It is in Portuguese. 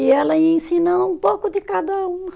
E ela ia ensinando um pouco de cada um